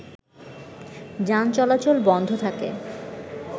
যান চলাচল বন্ধ থাকে